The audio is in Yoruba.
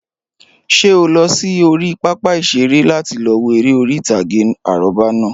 Ṣé o lọ sí orí pápá ìṣeré láti lọ wo eré orí ìtàgé àrọ́bá náà